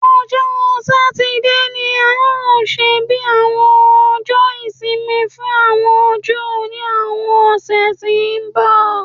Ọjọ́ Satide ni a óò ṣe bí Ọjọ́ Ìsinmi fún àwọn Júù ní àwọn ọ̀sẹ̀ tí ń bọ̀